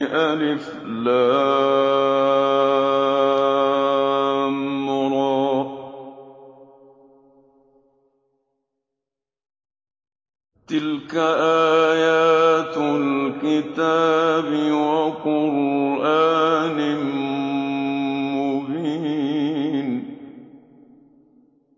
الر ۚ تِلْكَ آيَاتُ الْكِتَابِ وَقُرْآنٍ مُّبِينٍ